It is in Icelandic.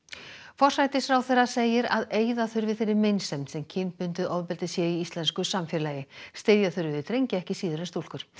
forsætisráðherra segir að eyða þurfi þeirri meinsemd sem kynbundið ofbeldi sé í íslensku samfélagi styðja þurfi við drengi ekki síður en stúlkur